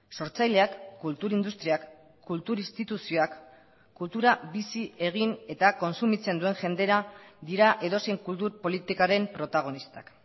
sortzaileak kultur industriak kultur instituzioak kultura bizi egin eta kontsumitzen duen jendera dira edozein kultur politikaren protagonistak